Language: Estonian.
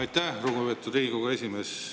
Aitäh, lugupeetud Riigikogu esimees!